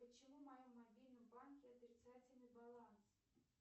почему в моем мобильном банке отрицательный баланс